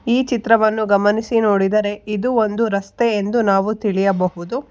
ಈ ಚಿತ್ರವನ್ನು ಗಮನಿಸಿ ನೋಡಿದರೆ ಇದು ಒಂದು ರಸ್ತೆ ಎಂದು ನಾವು ತಿಳಿಯಬಹುದು.